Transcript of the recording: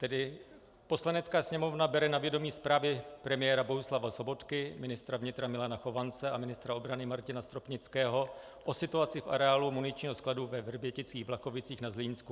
Tedy: Poslanecká sněmovna bere na vědomí zprávy premiéra Bohuslava Sobotky, ministra vnitra Milana Chovance a ministra obrany Martina Stropnického o situaci v areálu muničního skladu ve Vrběticích-Vlachovicích na Zlínsku.